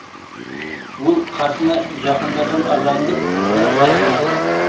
ол қасына жақындаған адамды да байқамады